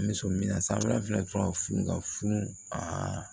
N bɛ so mi na san wɛrɛ tuma a